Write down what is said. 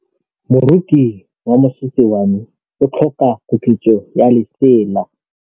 Moroki wa mosese wa me o tlhoka koketsô ya lesela.